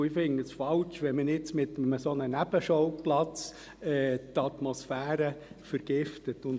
Ich fände es falsch, wenn man jetzt mit einem solchen Nebenschauplatz die Atmosphäre vergiftete.